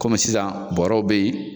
Kɔmi sisan bɔrɔw be yen